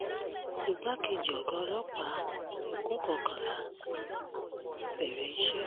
igbákejì ọ̀gá ọlọ́pàá ekun kọkànlá bẹ̀rẹ̀ iṣẹ́